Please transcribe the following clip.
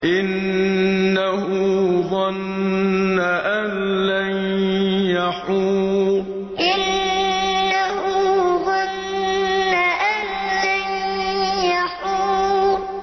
إِنَّهُ ظَنَّ أَن لَّن يَحُورَ إِنَّهُ ظَنَّ أَن لَّن يَحُورَ